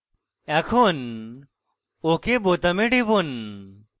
এখন ok বোতামে টিপুন